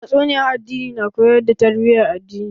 Tatsuniyan addini na koyar da tarbiyan addini